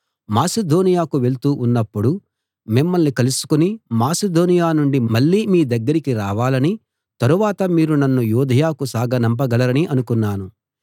మాసిదోనియకు వెళ్తూ ఉన్నపుడు మిమ్మల్ని కలుసుకుని మాసిదోనియ నుండి మళ్ళీ మీ దగ్గరికి రావాలనీ తరువాత మీరు నన్ను యూదయకు సాగనంపగలరనీ అనుకున్నాను